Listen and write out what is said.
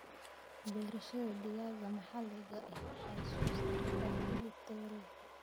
Beerashada digaaga maxaliga ahi waxay soo saartaa hilib tayo leh.